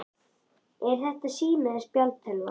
Er þetta sími eða spjaldtölva?